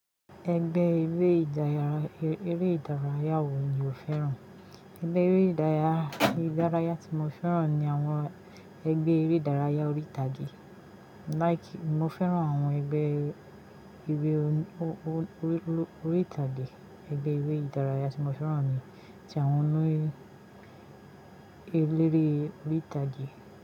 Ẹgbẹ́ eré ìdárayá, eré ìdárayá wo ni o fẹ́ràn? Ẹgbẹ́ eré ìdárayá, ìdárayá tí mo fẹ́ràn ni àwọn ẹgbẹ́ eré ìdárayá orí ìtàgé. Like, mo fẹ́ràn àwọn ẹgbẹ́ eré orí, orí ìtàgé. Ẹgbẹ́ eré ìdárayá tí mo fẹ́ràn ni tí àwọn orí, eléré orí ìtàgé.